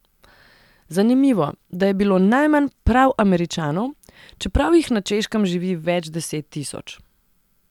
Zanimivo, da je bilo najmanj prav Američanov, čeprav jih na Češkem živi več deset tisoč.